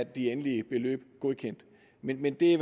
de endelige beløb godkendt men men det